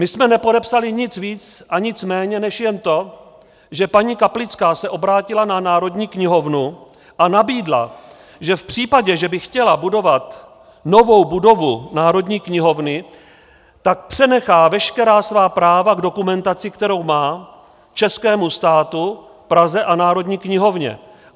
My jsme nepodepsali nic víc a nic méně než jen to, že paní Kaplická se obrátila na Národní knihovnu a nabídla, že v případě, že by chtěla budovat novou budovu Národní knihovny, tak přenechá veškerá svá práva k dokumentaci, kterou má, českému státu, Praze a Národní knihovně.